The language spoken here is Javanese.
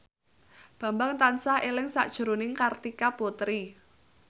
Bambang tansah eling sakjroning Kartika Putri